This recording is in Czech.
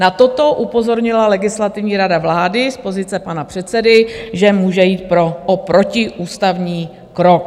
Na toto upozornila Legislativní rada vlády z pozice pana předsedy, že může jít o protiústavní krok.